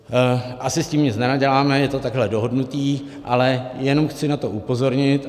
Asi s tím nic nenaděláme, je to takhle dohodnuté, ale jenom chci na to upozornit.